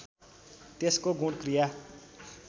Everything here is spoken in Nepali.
त्यसको गुण क्रिया